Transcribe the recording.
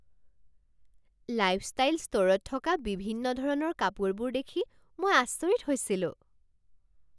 Lifestyle ষ্ট'ৰত থকা বিভিন্ন ধৰণৰ কাপোৰবোৰ দেখি মই আচৰিত হৈছিলোঁ!